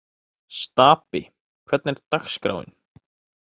Stapi, hvernig er dagskráin?